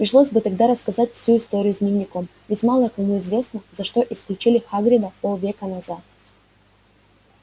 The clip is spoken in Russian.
пришлось бы тогда рассказать всю историю с дневником ведь мало кому известно за что исключили хагрида полвека назад